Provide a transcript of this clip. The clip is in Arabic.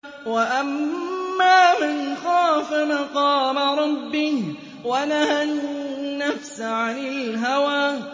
وَأَمَّا مَنْ خَافَ مَقَامَ رَبِّهِ وَنَهَى النَّفْسَ عَنِ الْهَوَىٰ